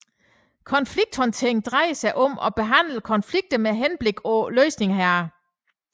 Konflikthåndtering drejer sig om at behandle konflikter med henblik på løsning heraf